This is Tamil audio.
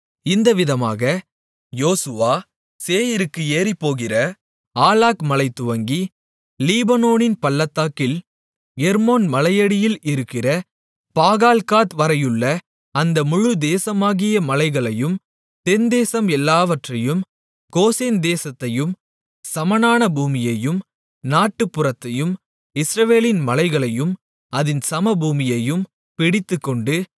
இந்த விதமாக யோசுவா சேயீருக்கு ஏறிப்போகிற ஆலாக் மலைதுவங்கி லீபனோனின் பள்ளத்தாக்கில் எர்மோன் மலையடியில் இருக்கிற பாகால்காத் வரையுள்ள அந்த முழு தேசமாகிய மலைகளையும் தென்தேசம் எல்லாவற்றையும் கோசேன் தேசத்தையும் சமனான பூமியையும் நாட்டுப்புறத்தையும் இஸ்ரவேலின் மலைகளையும் அதின் சமபூமியையும் பிடித்துக்கொண்டு